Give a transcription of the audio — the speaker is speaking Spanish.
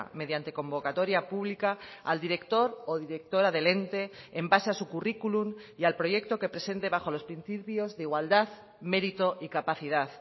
mediante convocatoria pública al director o directora del ente en base a su currículum y al proyecto que presente bajo los principios de igualdad mérito y capacidad